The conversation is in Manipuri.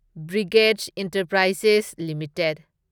brigade Enterprises limited